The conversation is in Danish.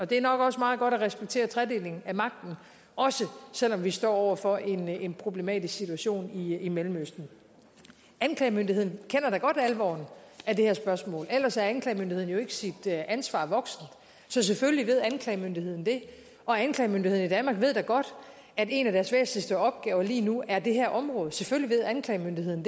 det er nok også meget godt at respektere tredeling af magten også selv om vi står over for en en problematisk situation i mellemøsten anklagemyndigheden kender da godt alvoren af det her spørgsmål ellers er anklagemyndigheden jo ikke sit ansvar voksen så selvfølgelig ved anklagemyndigheden det og anklagemyndigheden i danmark ved da godt at en af deres væsentligste opgaver lige nu er det her område selvfølgelig ved anklagemyndigheden